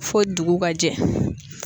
Fo dugu ka jɛ.